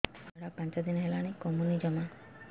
ଝିଅର ଝାଡା ପାଞ୍ଚ ଦିନ ହେଲାଣି କମୁନି ଜମା